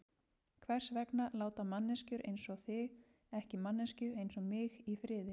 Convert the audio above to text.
Hvers vegna láta manneskjur einsog þið ekki manneskju einsog mig í friði?